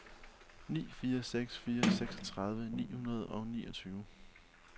ni fire seks fire seksogtredive ni hundrede og niogtyve